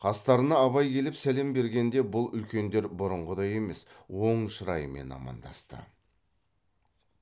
қастарына абай келіп сәлем бергенде бұл үлкендер бұрынғыдай емес оң шыраймен амандасты